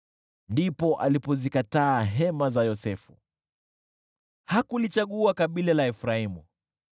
Ndipo alipozikataa hema za Yosefu, hakulichagua kabila la Efraimu,